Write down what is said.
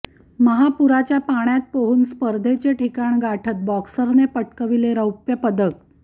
महापुराच्या पाण्यात पोहून स्पर्धेचे ठिकाण गाठत बॉक्सरने पटकाविले रौप्यपदक